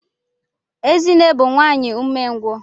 Ezinne bu nwanyi umengwu.